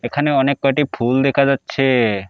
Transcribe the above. এখানে অনেক কয়টি ফুল দেখা যাচ্ছে।